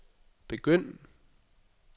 begynd